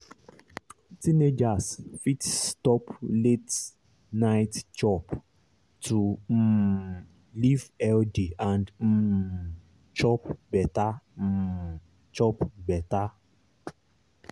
teenagers fit stop late-night chop to um live healthy and um chop better. um chop better.